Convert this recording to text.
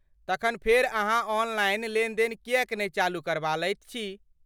तखन फेर अहाँ ऑनलाइन लेन देन किएक नहि चालू करबा लैत छी?